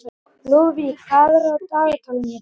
Lúðvík, hvað er á dagatalinu í dag?